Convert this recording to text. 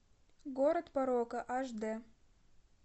город порока аш дэ